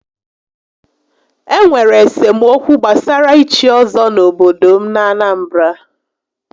Enwere esemokwu gbasara íchí ọ́zọ́ n'obodo m n'Anambra